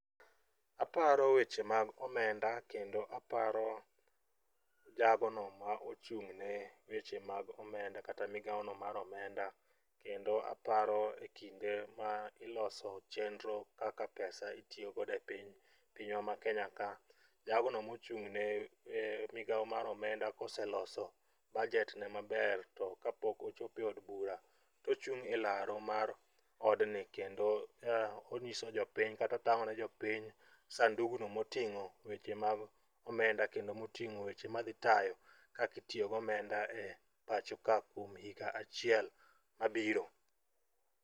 Aparo weche mag omenda kendo aparo jagono ma ochung'ne weche mag omenda kata migaono mar omenda kendo aparo kinde ma iloso chenro kaka pesa itiyogodo e pinywa ma kenya ka. Jagono mochung'ne migao mar omenda koseloso budgetne maber to ka pok ochopo e od bura, tochung' e laro mar odni kendo onyiso jopiny kata otang'o ne jopiny sandugno moting'o weche mag omenda kendo moting'o weche madhitayo kakitiyo go omenda pacho ka kuom higa achiel mabiro.